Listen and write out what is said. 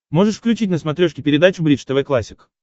можешь включить на смотрешке передачу бридж тв классик